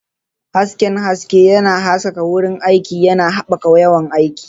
Hasken haske yana haskaka wurin aiki, yana haɓaka yawan aiki.